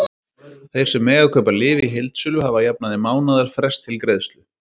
Þeir sem mega kaupa lyf í heildsölu hafa að jafnaði mánaðarfrest til greiðslu.